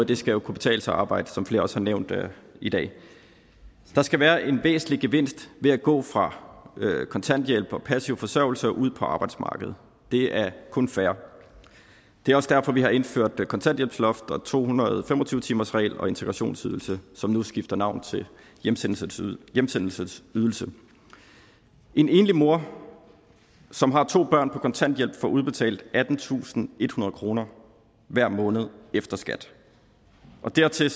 det skal kunne betale sig at arbejde som flere også har nævnt i dag der skal være en væsentlig gevinst ved at gå fra kontanthjælp og passiv forsørgelse og ud på arbejdsmarkedet det er kun fair det er også derfor vi har indført kontanthjælpsloft to hundrede og fem og tyve timersregel og integrationsydelse som nu skifter navn til hjemsendelsesydelse hjemsendelsesydelse en enlig mor som har to børn på kontanthjælp får udbetalt attentusinde og ethundrede kroner hver måned efter skat og dertil